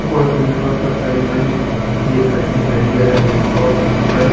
कोई petrol pump है ई माइन एक गाड़ी खड़ी है पेट्रोल पंप कन।